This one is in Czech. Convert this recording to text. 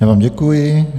Já vám děkuji.